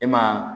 E ma